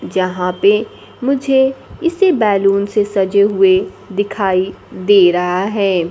जहां पे मुझे इसे बैलून से सजे हुए दिखाई दे रहा है।